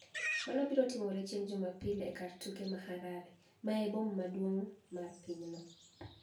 Mano biro timore chienig' Jumapil e kar tuke mani Harare, ma eniboma maduonig' mar piny no.